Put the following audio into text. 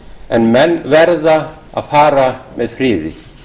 en menn verða að fara með friði